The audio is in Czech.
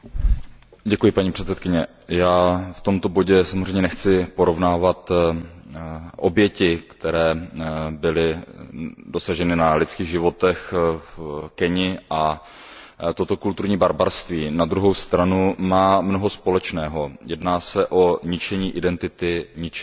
Paní předsedající, já v tomto bodě samozřejmě nechci porovnávat oběti na lidských životech v Keni. Ale toto kulturní barbarství na druhou stranu má mnoho společného, jedná se o ničení identity, ničení odkazů